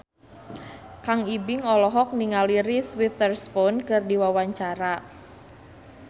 Kang Ibing olohok ningali Reese Witherspoon keur diwawancara